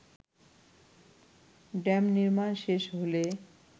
dam নির্মাণ শেষ হলে